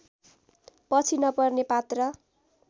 पछि नपर्ने पात्र